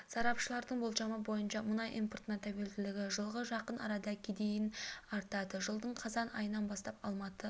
сарапшылардың болжамы бойынша мұнай импортына тәуелділігі жылғы жақын арада кедейін артады жылдың қазан айынан бастап алматы